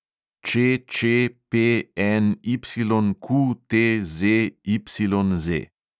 ČČPNYQTZYZ